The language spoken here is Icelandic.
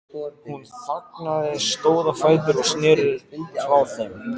Hún þagnaði, stóð á fætur og sneri sér frá þeim.